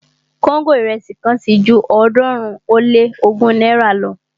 kóńgò irẹsi kan ti ju ọ̀ọ́dúnrún ó lé ogún náírà lọ